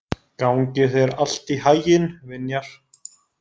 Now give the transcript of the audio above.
Gangi þér allt í haginn, Vinjar.